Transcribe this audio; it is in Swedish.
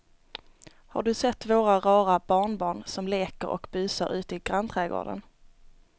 Har du sett våra rara barnbarn som leker och busar ute i grannträdgården!